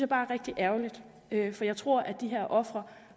bare er rigtig ærgerligt for jeg tror at de her ofre